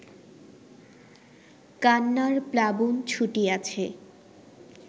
কান্নার প্লাবন ছুটিয়াছে